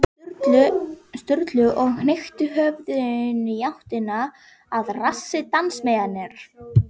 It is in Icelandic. Sturlu og hnykkti höfðinu í áttina að rassi dansmeyjarinnar.